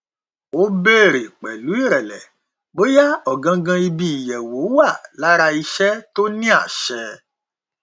ó bèèrè pẹlú ìrẹlẹ bóyá ọgangan ibi ìyẹwò wà lára iṣẹ tó ní àṣẹ